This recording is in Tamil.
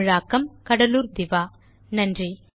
தமிழாக்கம் கடலூர் திவா நன்றி